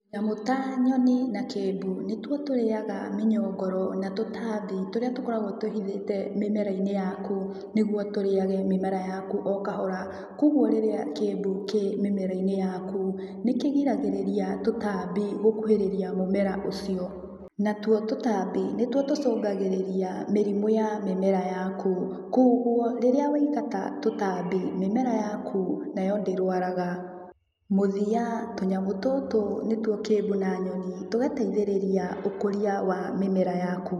Nyamũ ta nyoni na kĩmbu, nĩtuo tũrĩaga mĩnyongoro na tũtambi tũrĩa tũkoragwo twĩhithĩte mĩmera-inĩ yaku, nĩguo tũrĩage mĩmera yaku o kahora. Kuoguo rĩrĩa kĩmbũ kĩ mĩmera-inĩ yaku, nĩkĩgiragĩrĩria tũtambi gũkuhĩrĩria mũmera ũcio. Natuo tũtambi nĩtuo tũcũngagĩrĩria mĩrimũ ya mĩmera yaku. Kuoguo, rĩrĩa waingata tũtambi, mĩmera yaku nayo ndĩrwaraga. Mũthia, tũnyamũ tũtũ nĩtuo kĩmbu na nyoni, tũgateithĩrĩria ũkũria wa mĩmera yaku.